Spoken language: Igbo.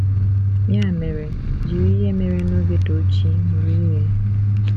Ya mere, jiri ihe mere n’oge Tochi mụrụ ihe.